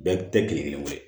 Bɛɛ tɛ kelen kelen ye